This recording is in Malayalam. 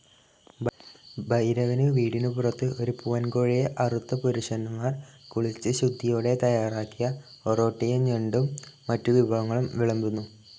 ഭൈരവനു വീടിനുപുറത്തു ഒരു പൂവൻകോഴിയെ അറുത്തപുരുഷന്മാർ കുളിച്ച് ശുദ്ധിയോടെ തയ്യാറാക്കിയ ഒറോട്ടിയുംഞണ്ടും മറ്റുവിഭവങ്ങളും വിളമ്പുന്നു.